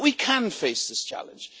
But we can face this challenge.